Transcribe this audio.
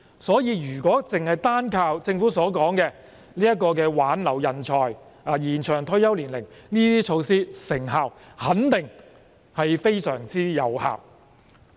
所以，如果單靠政府所說的挽留人才及延長退休年齡等措施，成效肯定非常有限。